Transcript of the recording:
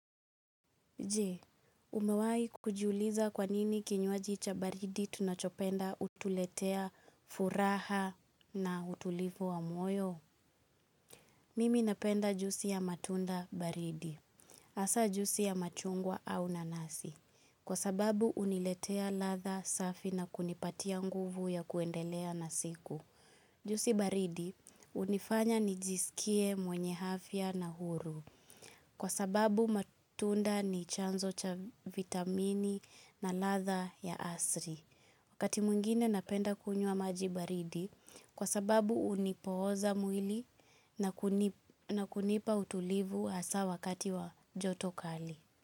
Jee, umewai kujuliza kwanini kinyuaji cha baridi tunachopenda utuletea furaha na utulivu wa moyo? Mimi napenda jusi ya matunda baridi, hasaa jusi ya machungwa au nanasi, kwa sababu uniletea ladha safi na kunipatia nguvu ya kuendelea na siku. Jusi baridi unifanya nijisikie mwenye afya na huru kwa sababu matunda ni chanzo cha vitamini na ladha ya asri. Wakati mungine napenda kunyua maji baridi kwa sababu unipooza mwili na kunipa utulivu asa wakati wa joto kali.